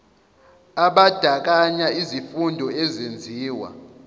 abandakanya izifundo ezenziwa